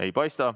Ei paista.